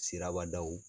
Siraba daw